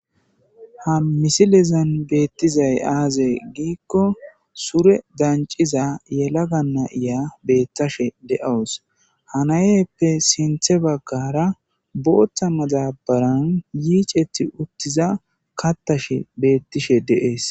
Ha misilizan beettizay aaze giikko sure danciza yelaga nayiya beetthashe de'awus hanayeyppe sinthe baggara booththa madabaran yiicethi uttiza kattashe beettishe deees.